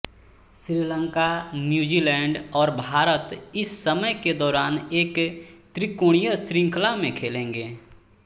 Sri Lanka New Zealand और भारत इस समय के दौरान एक त्रिकोणीय श्रृंखला में खेलेंगे